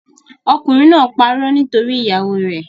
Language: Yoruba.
Okùnrin náà parọ́ nítorí ìyàwóo rẹ̀.